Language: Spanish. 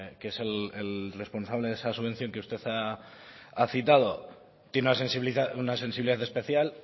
que es el responsable de esa subvención que usted ha citado tiene una sensibilidad especial